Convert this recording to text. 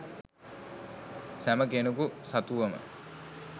සැම කෙනෙකු සතුවම